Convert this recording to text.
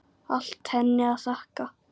Allt henni að þakka.